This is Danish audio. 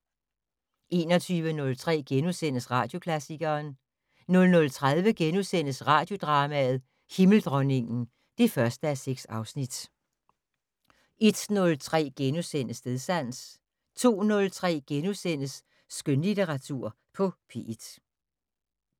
21:03: Radioklassikeren * 00:30: Radiodrama: Himmeldronningen (1:6)* 01:03: Stedsans * 02:03: Skønlitteratur på P1 *